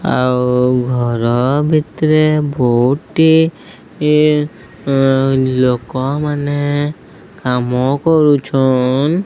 ଆଉ ଘର ଭିତରେ ବହୁତେ ଲୋକମାନେ କାମ କରୁଛନ।